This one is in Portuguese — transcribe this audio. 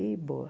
E boa.